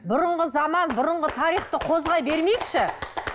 бұрынғы заман бұрынғы тарихты қозғай бермейікші